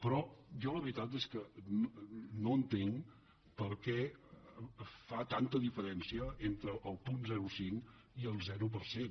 però jo la veritat és que no entenc per què fa tanta diferència entre el punt zero coma cinc i el zero per cent